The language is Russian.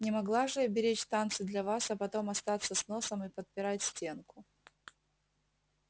не могла же я беречь танцы для вас а потом остаться с носом и подпирать стенку